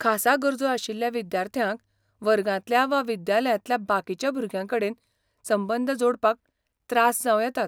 खासा गरजो आशिल्ल्या विद्यार्थ्यांक वर्गांतल्या वा विद्यालयांतल्या बाकीच्या भुरग्यांकडेन संबंद जोडपाक त्रास जांव येतात .